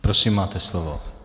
Prosím, máte slovo.